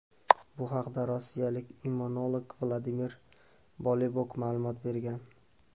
Bu haqda rossiyalik immunolog Vladimir Bolibok ma’lumot bergan.